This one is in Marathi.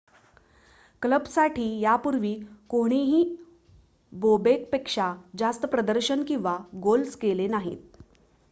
क्लबसाठी यापूर्वी कोणीही बोबेकपेक्षा जास्त प्रदर्शन किंवा गोल्स केले नाहीत